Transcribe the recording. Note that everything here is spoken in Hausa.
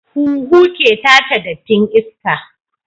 Huhu ke tace dattin iska